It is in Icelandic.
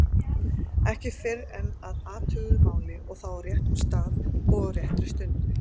Ekki fyrr en að athuguðu máli og þá á réttum stað og á réttri stundu.